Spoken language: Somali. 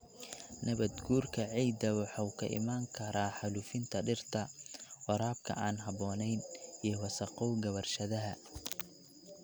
Nabaad-guurka ciidda waxa uu ka iman karaa xaalufinta dhirta, waraabka aan habboonayn, iyo wasakhowga warshadaha.